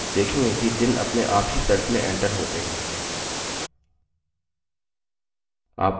आप देखेंगे कि दिन अपने आप ही cells में एंटर होते हैं